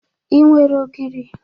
Ị nwere ogiri?